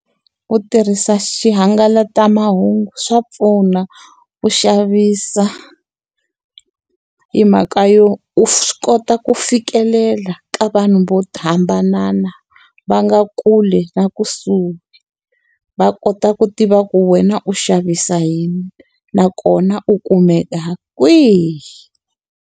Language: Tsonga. Ku tirhisa xihangalasamahungu swa pfuna ku xavisa, hi mhaka yo u swi kota ku fikelela ka vanhu vo thambanana, va nga kule na kusuhi. Va kota ku tiva ku wena u xavisa yini nakona u kumeka kwihi.